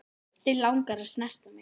Þig langar að snerta mig.